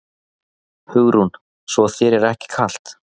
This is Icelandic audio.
Hugrún: Svo þér er ekki kalt?